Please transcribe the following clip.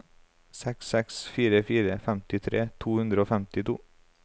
seks seks fire fire femtitre to hundre og femtito